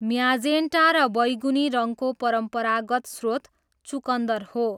Magenta र बैगुनी रङको परम्परागत स्रोत चुकन्दर हो।